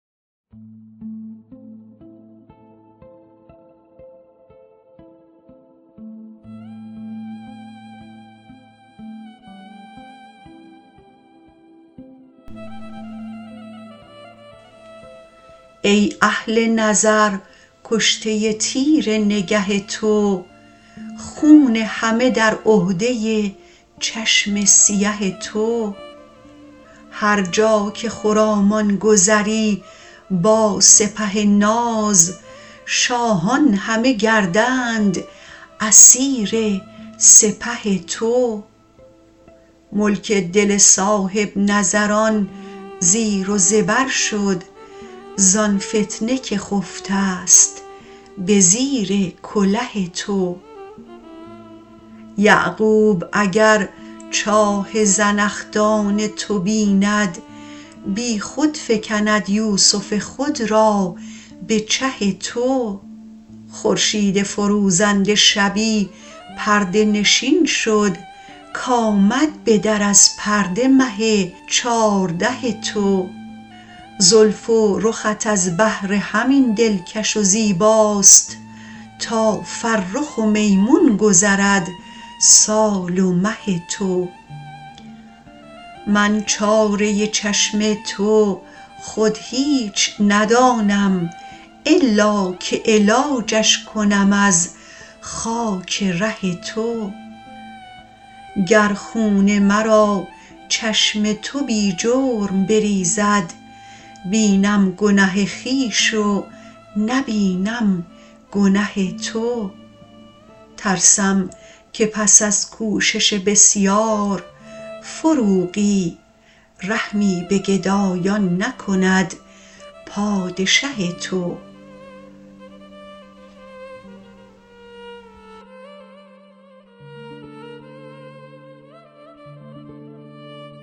ای اهل نظر کشته تیر نگه تو خون همه در عهده چشم سیه تو هر جا که خرامان گذری با سپه ناز شاهان همه گردند اسیر سپه تو ملک دل صاحب نظران زیر و زبر شد زان فتنه که خفته ست به زیر کله تو یعقوب اگر چاه زنخدان تو بیند بی خود فکند یوسف خود را به چه تو خورشید فروزنده شبی پرده نشین شد کآمد به در از پرده مه چارده تو زلف و رخت از بهر همین دل کش و زیباست تا فرخ و میمون گذرد سال و مه تو من چاره چشم تو خود هیچ ندانم الا که علاجش کنم از خاک ره تو گر خون مرا چشم تو بی جرم بریزد بینم گنه خویش و نبینم گنه تو ترسم که پس از کوشش بسیار فروغی رحمی به گدایان نکند پادشه تو